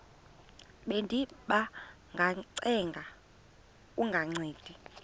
bendiba ngacenga kungancedi